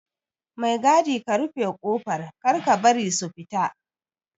Mai gadi ka rufe kofar Kar ka bari su fita